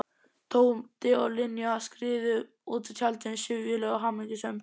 Tóti og Linja skriðu út úr tjaldinu, syfjuleg og hamingjusöm.